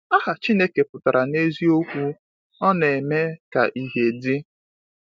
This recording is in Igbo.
Aha Chineke pụtara n’eziokwu Ọ Na-eme Ka Ihe Dị.